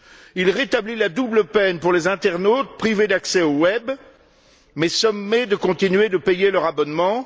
Il rétablit la double peine pour les internautes privés d'accès au web mais sommés de continuer de payer leur abonnement.